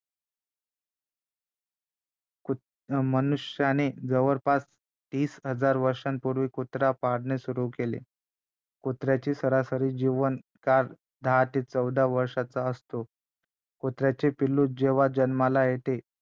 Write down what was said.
कुत अं मनुष्याने जवळपास तीस हजार वर्षांपूर्वी कुत्र्याला पाळणे सुरु केले कुत्र्याचा सरासरी जीवनकाळ दहा ते चौदा वर्षांचा असतो कुत्र्याचे पिल्लू जेव्हा जन्माला येते